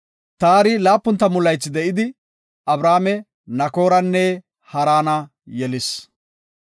Taari 70 laythi de7idi, Abrame, Nakooranne Haarane yelis.